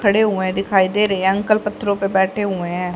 खड़े हुए दिखाई दे रहे अंकल पत्थरों पे बैठे हुए हैं।